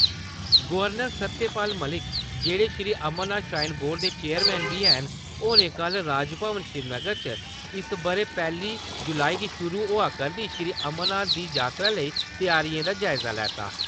Governor Satyapal Malik जेहड़े Shri Amarnath shrine board दे chairman बी ऐन , होरें कल राजभवन श्रीनगर च इस बारे पैली जुलाई गी शुरू होए करदी श्री अमरनाथें दी यात्रा लेई तैआरिएं दा जायजा लैता ।